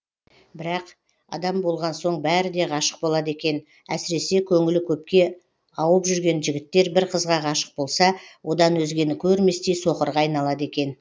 бірақ адам болған соң бәрі де ғашық болады екен әсіресе көңілі көпке ауып жүрген жігіттер бір қызға ғашық болса одан өзгені көрместей соқырға айналады екен